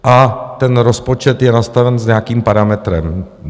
A ten rozpočet je nastaven s nějakým parametrem.